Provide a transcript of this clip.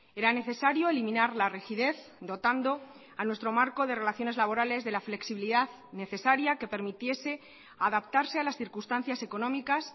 era necesario eliminar la rigidez dotando a nuestro marco de relaciones laborales de la flexibilidad necesaria que permitiese adaptarse a las circunstancias económicas